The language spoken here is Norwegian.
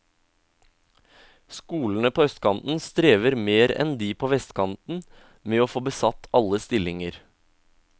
Skolene på østkanten strever mer enn de på vestkanten med å få besatt alle stillinger.